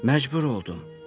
Məcbur oldum.